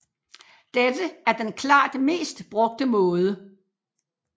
Dette er den klart mest brugte måde